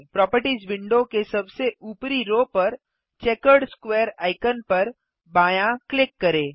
properties window के सबसे ऊपरी रो पर चेकर्ड स्क्वेयर आइकन पर बायाँ क्लिक करें